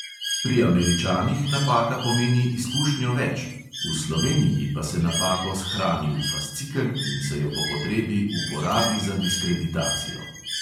Pri američanih napaka pomeni izkušnjo več, v sloveniji pa se napako shrani v fascikel in se jo po potrebi uporabi za diskreditacijo.